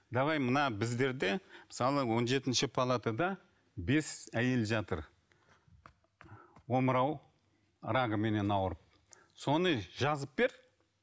давай мына біздерде мысалы он жетінші палатада бес әйел жатыр омырау рагыменен ауырып соны жазып бер